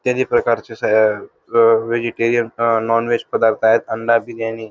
इत्यादी प्रकारचे स अअ व्हेजिटेरियन अअ नॉनव्हेज पदार्थ आहेतअंडा बिर्याणी--